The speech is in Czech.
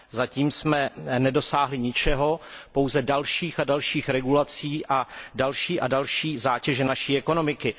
Zatím jsme nedosáhli ničeho, pouze dalších a dalších regulací a další a další zátěže naší ekonomiky.